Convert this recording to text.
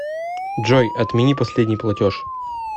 джой отмени последний платеж